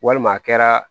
Walima a kɛra